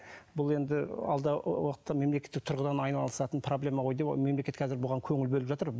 бұл енді енді алдағы уақытта мемлекеттік тұрғыдан айналысатын проблема ғой деп мемлекет қазір бұған көңіл бөліп жатыр